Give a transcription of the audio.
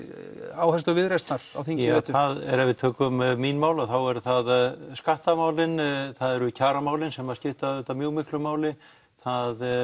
áherslur Viðreisnar ef við tökum mín mál þá eru það skattamálin það eru kjaramálin sem skipta auðvitað mjög miklu máli það